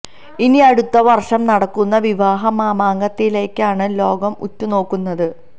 ഇനി അടുത്ത വർഷം നടക്കുന്ന വിവാഹ മാമാങ്കത്തിലേക്കാണ് ലോകം ഉറ്റു നോക്കുന്നത്